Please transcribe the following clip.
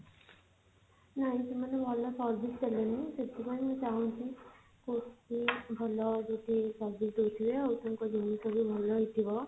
ନାଇଁ ସେମାନେ ଭଲ service ଦେଲେନି ସେଥିପାଇଁ ମୁଁ ଚାହୁଁଛି କୋଊଠି ଭଲ ଯଦି service ଦଉଥିବେ ଆଉ ତାଙ୍କ ଜିନିଷ ବି ଭଲ ହେଇଥିବ